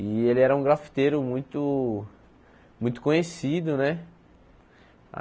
E ele era um grafiteiro muito muito conhecido, né?